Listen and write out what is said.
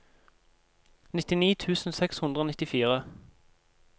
nittini tusen seks hundre og nittifire